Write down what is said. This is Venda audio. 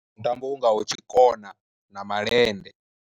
Mutambo u ngaho tshikona na malende.